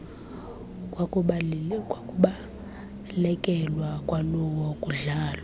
kwakubalekelwa kwakulo kudlalwa